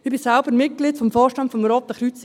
Ich bin Mitglied des Vorstands des Roten Kreuzes.